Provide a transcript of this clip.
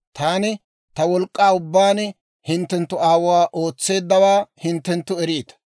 Taani ta wolk'k'aa ubbaan hinttenttu aawuu ootseeddawaa hinttenttu eriita;